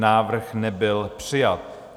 Návrh nebyl přijat.